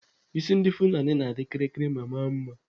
Isi ndị Fulani na-adị kịrịkịrị ma maa mma.